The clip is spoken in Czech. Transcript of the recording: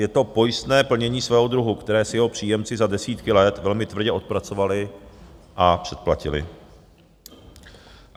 Je to pojistné plnění svého druhu, které si jeho příjemci za desítky let velmi tvrdě odpracovali a předplatili.